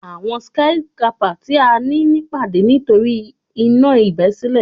Awọn skyscrapper ti a ni pipade nitori a iná ibesile